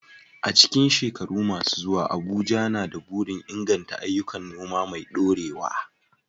A cikin shekaru masu zuwa, Abuja na da burin inganta ayyukan noma mai dorewa.